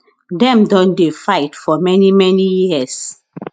dem don dey fight for many many years